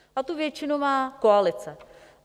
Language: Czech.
A tu většinu má koalice.